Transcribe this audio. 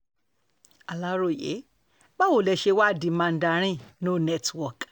aláròye báwo lẹ ṣe wàá di mandarin no network